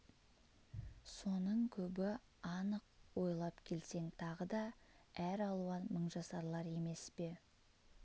соның көбі анық ойлап келсең тағы да әр алуан мыңжасарлар емес пе